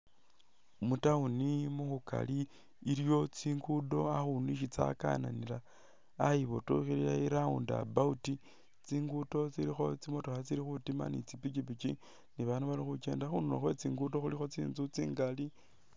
Mu town mukhukali iliwo tsingudo akhundu Isi tsakananila ayibotokhelela i'round about tsingudo tsilikho tsimotokha tsili khutima ni tsi pikipiki ni babaandu bali khukenda khundulo khwe tsingudo khulikho tsinzu tsingali